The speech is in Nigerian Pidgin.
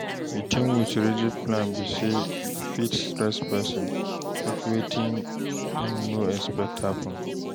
Di thing with rigid plan be sey e fit stress person if wetin im no expect happen